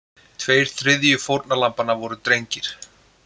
Tveir þriðju fórnarlambanna voru drengir